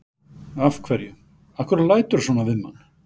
Af hverju. af hverju læturðu svona við mann?